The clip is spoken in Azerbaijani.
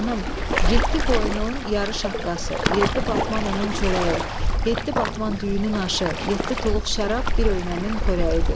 Xanım, yeddi qoyunun yarı şaqqası, yeddi batman unun çörəyi, yeddi batman düyünün aşı, yeddi tuluq şərab bir öynəmin xörəyidir.